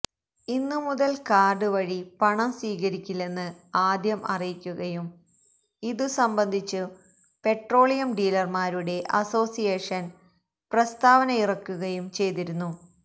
ഇന്നു മുതൽ കാർഡ് വഴി പണം സ്വീകരിക്കില്ലെന്ന് ആദ്യം അറിയിക്കുകയും ഇതു സംബന്ധിച്ചു പെട്രോളിയം ഡീലർമാരുടെ അസോസിയേഷൻ പ്രസ്താവനയിറക്കുകയും ചെയ്തിരുന്നു